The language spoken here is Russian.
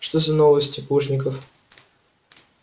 что за новости плужников